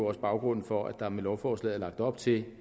også baggrunden for at der med lovforslaget er lagt op til